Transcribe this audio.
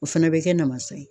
O fana bɛ kɛ namasa ye.